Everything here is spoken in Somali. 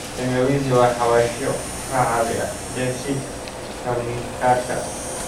Tangawizi waa xawaashyo ka caawiya dheef-shiid kiimikaadka.